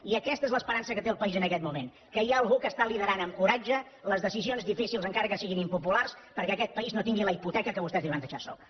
i aquesta és l’esperança que té el país en aquest moment que hi ha algú que està liderant amb coratge les decisions difícils encara que siguin impopulars perquè aquest país no tingui la hipoteca que vostès li van deixar a sobre